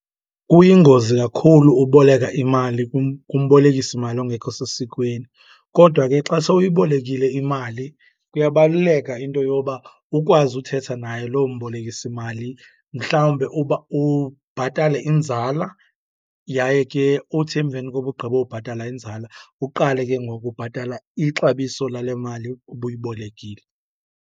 Kuyingozi kakhulu uboleka imali kumbolekisimali ongekho sesikweni. Kodwa ke xa sowuyibolekile imali kuyabaluleka into yoba ukwazi uthetha naye loo mbolekisi mali, mhlawumbe uba ubhatale inzala yaye ke uthi emveni koba ugqibobhatala inzala uqale ke ngoku ubhatala ixabiso lale mali ubuyibolekile.